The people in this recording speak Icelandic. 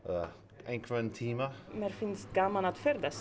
einhvern tímann mér finnst gaman að ferðast